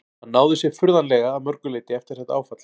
Hann náði sér furðanlega að mörgu leyti eftir þetta áfall.